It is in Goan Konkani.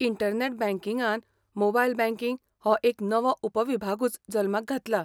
इंटरनॅट बँकिंगान मोबायल बँकिंग हो एक नवो उपविभागूच जल्माक घातला.